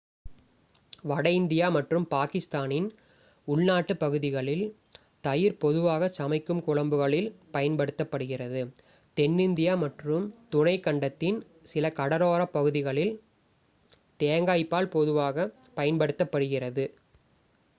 வட இந்தியா மற்றும் பாகிஸ்தானின் உள்நாட்டுப் பகுதிகளில் தயிர் பொதுவாகச் சமைக்கும் குழம்புகளில் பயன்படுத்தப்படுகிறது தென்னிந்தியா மற்றும் துணைக்கண்டத்தின் சில கடலோரப் பகுதிகளில் தேங்காய் பால் பொதுவாகப் பயன்படுத்தப்படுகிறது